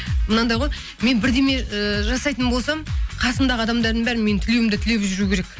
мынандай ғой мен бірдеңе ыыы жасайтын болсам қасымдағы адамдардың бәрі менің тілеуімді тілеп жүру керек